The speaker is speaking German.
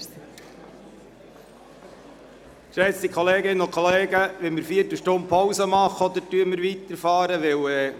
Geschätzte Kolleginnen und Kollegen, wollen wir eine Viertelstunde Pause machen, oder führen wir die Beratungen fort?